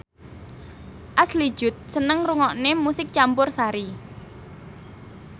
Ashley Judd seneng ngrungokne musik campursari